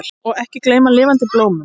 Og ekki gleyma lifandi blómum!